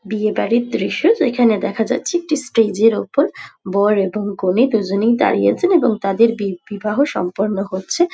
বিয়ে বাড়ির দৃশ্য যেখানে দেখা যাচ্ছে একটি স্টেজ -এর ওপর বর এবং কনে দুজনেই দাঁড়িয়ে আছেন এবং তাদের বি বিবাহ সম্পন্ন হচ্ছে।